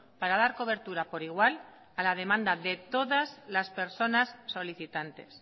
para dar cobertura por igual a la demanda de todas las personas solicitantes